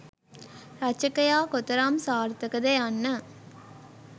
රචකයා කොතරම් සාර්ථක ද යන්න